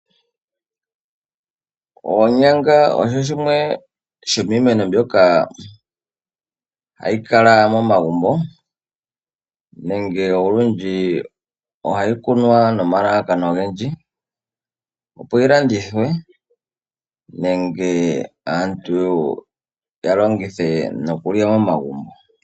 Onyanga osho shimwe shomimeno mbyoka hayikala momagumbo nenge olundji ohayikunwa nomalalakano ongendji, opo yilandithwe nenge aantu yalongithe nokulya momagumbo.